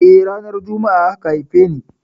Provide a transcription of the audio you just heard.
Eh, ranar Jumma'a aka haife ni.